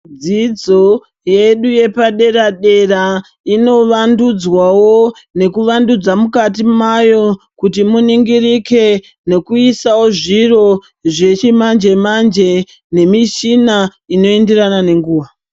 Dzidzo yedu yepadera dera inovandudzwawo nekuvandudza mukati mayo, kuti muningirike nekuisawo zviro zvechimanje manje nemichina inoenderana nenguva.